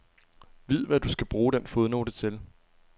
Vid, hvad du skal bruge den fodnote til.